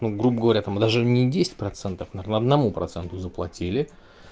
ну вот грубо говоря там даже не десять процентов на одному проценту заплатили